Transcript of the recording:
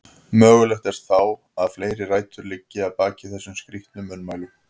Mögulegt er þó að fleiri rætur liggi að baki þessum skrítnu munnmælum.